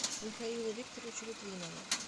михаилу викторовичу литвинову